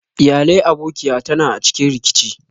Iyalai abokiya ta na a cikin rikici.